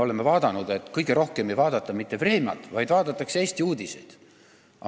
Üks vastus oli, et kõige rohkem ei vaadata PBK-st mitte "Vremjat", vaid Eesti uudiseid.